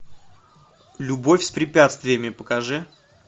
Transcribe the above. любовь с препятствиями покажи